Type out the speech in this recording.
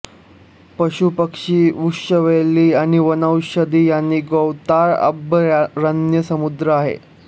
पशुपक्षी वृक्षवेली आणि वनौषधी यांनी गौताळा अभयारण्य समृद्ध आहे